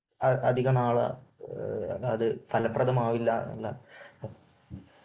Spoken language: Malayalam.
അധികനാൾ അത് ഫലപ്രദമാകില്ല എന്ന